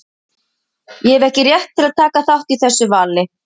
Ég hef ekki rétt til að taka þátt í þessu vali.